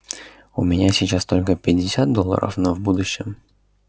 у меня сейчас только пятьдесят долларов но в будущем